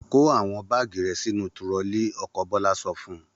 Kó àwọn báágì rẹ sínú turọlí! Ọkọ Bọ́lá sọ fún un.